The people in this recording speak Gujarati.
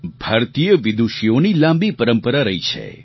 ભારતીય વિદૂષીઓની લાંબી પરંપરા રહી છે